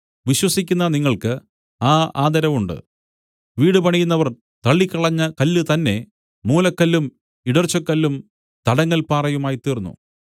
വിശ്വസിക്കുന്ന നിങ്ങൾക്ക് ആ ആദരവുണ്ട് വീട് പണിയുന്നവർ തള്ളിക്കളഞ്ഞ കല്ല് തന്നേ മൂലക്കല്ലും ഇടർച്ചക്കല്ലും തടങ്ങൽ പാറയുമായിത്തീർന്നു